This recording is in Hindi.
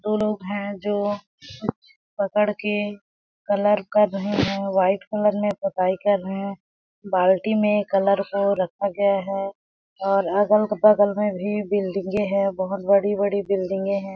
दो लोग है जो पकड़ के कलर कर रहे है वाइट कलर में पोताई कर रहे है बाल्टी में कलर को रखा गया है और अगल -बगल में भी बिल्डिंगे है बहुत बड़ी-बड़ी बिल्डिंगे है।